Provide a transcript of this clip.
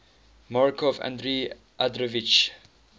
markov andrei andreevich